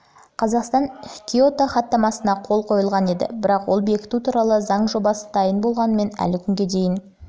жылы қазақстан киото хаттамасына қол қойған еді бірақ ол бекіту туралы заң жобасы дайын болғанымен әлі күнге дейін